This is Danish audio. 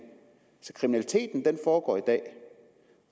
kriminaliteten foregår i dag